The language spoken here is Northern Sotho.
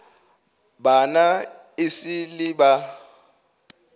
bana e sa le ba